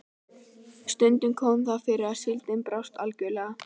Stundum kom það fyrir að síldin brást algjörlega.